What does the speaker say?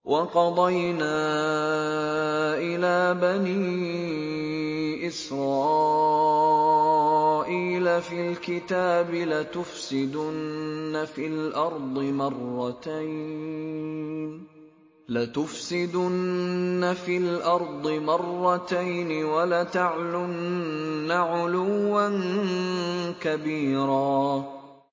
وَقَضَيْنَا إِلَىٰ بَنِي إِسْرَائِيلَ فِي الْكِتَابِ لَتُفْسِدُنَّ فِي الْأَرْضِ مَرَّتَيْنِ وَلَتَعْلُنَّ عُلُوًّا كَبِيرًا